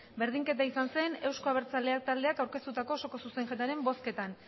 berdinketa izan zen eusko abertzaleak taldeak aurkeztutako osoko zuzenketaren bozketan